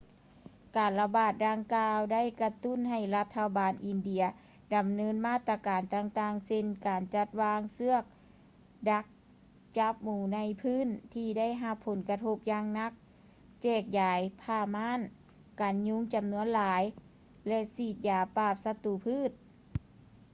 ການລະບາດດັ່ງກ່າວ ໄດ້ກະຕຸ້ນໃຫ້ລັດຖະບານອິນເດຍ ດຳເນີນມາດຕະການຕ່າງໆ ເຊັ່ນ ການຈັດວາງເຊືອກດັກຈັບໝູໃນພື້ນທີ່ໄດ້ຮັບຜົນກະທົບຢ່າງໜັກ ແຈກຢາຍຜ້າມ່ານກັນຍຸງຈໍານວນຫຼາຍ ແລະ ສີດຢາປາບສັດຕູພືດ